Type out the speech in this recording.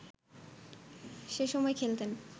সেসময় খেলতেন